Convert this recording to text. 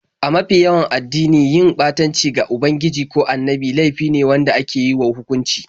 A mafi yawanci addinai, yin ɓatanci ga ubangiji ko annabi laifi ne wanda ake wa hukunci.